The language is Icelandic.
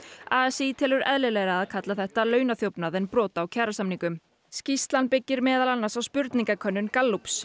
a s í telur eðlilegra að kalla þetta en brot á kjarasamningum skýrslan byggist meðal annars á spurningakönnun Gallups